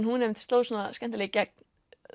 hún einmitt sló skemmtilega í gegn